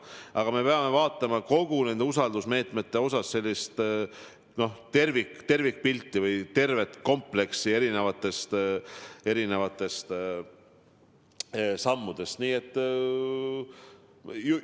Aga me peame vaatama nende usaldusmeetmete puhul tervikpilti või tervet kompleksi erinevatest sammudest.